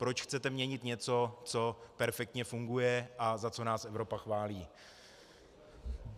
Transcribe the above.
Proč chcete měnit něco, co perfektně funguje a za co nás Evropa chválí?